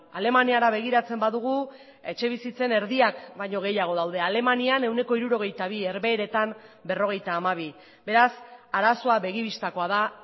alemaniara begiratzen badugu etxebizitzen erdiak baino gehiago daude alemanian ehuneko hirurogeita bi herbeheretan berrogeita hamabi beraz arazoa begi bistakoa da